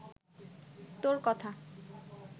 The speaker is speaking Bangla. তোর কথা